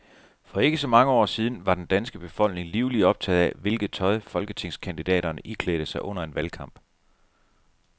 For ikke så mange år siden var den danske befolkning livligt optaget af, hvilket tøj folketingskandidaterne iklædte sig under en valgkamp.